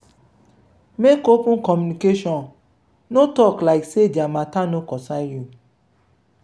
make open communication no talk like sey their matter no comcern you